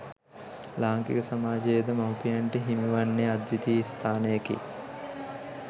ලාංකික සමාජයේද මවුපියන්ට හිමි වන්නේ අද්විතීය ස්ථානයකි.